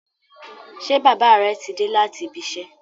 Ṣé bàbá rẹ ti dé láti ibi -iṣẹ́?